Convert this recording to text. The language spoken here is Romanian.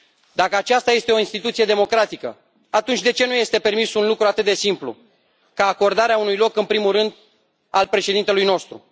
Dacă aceasta este o instituție democratică, atunci de ce nu este permis un lucru atât de simplu, ca acordarea unui loc în primul rând, al președintelui nostru?